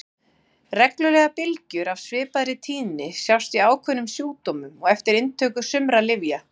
Reglulegar bylgjur af svipaðri tíðni sjást í ákveðnum sjúkdómum og eftir inntöku sumra lyfja.